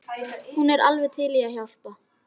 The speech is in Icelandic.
Hún er alveg til í að hjálpa.